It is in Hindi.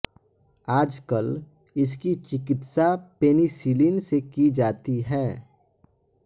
आजकल इसकी चिकित्सा पेनिसिलीन से की जाती है